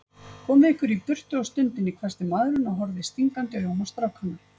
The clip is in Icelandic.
Komið ykkur í burtu á stundinni, hvæsti maðurinn og horfði stingandi augum á strákana.